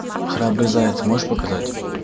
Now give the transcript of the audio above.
храбрый заяц можешь показать